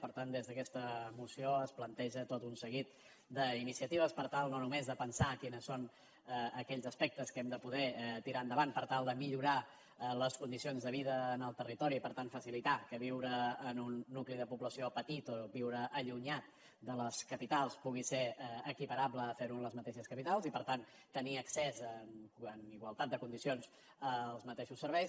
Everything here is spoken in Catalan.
per tant des d’aquesta moció es planteja tot un seguit d’iniciatives per tal no només de pensar quins són aquells aspectes que hem de poder tirar endavant per tal de millorar les condicions de vida en el territori i per tant facilitar que viure en un nucli de població petit o viure allunyat de les capitals pugui ser equiparable a fer ho en les mateixes capitals i per tant tenir accés en igualtat de condicions als mateixos serveis